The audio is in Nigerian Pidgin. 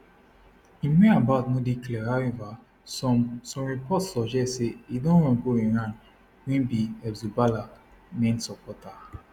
im whereabouts no dey clear however some some reports suggest say e don run go iran wey be hezbollah main supporter